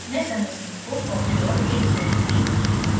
मैं संरचनाओं को copy और paste करुँगी